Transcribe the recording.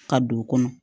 Ka don o kɔnɔ